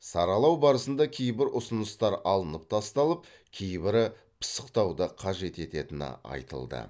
саралау барысында кейбір ұсыныстар алынып тасталып кейбірі пысықтауды қажет ететіні айтылды